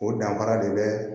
O danfara de bɛ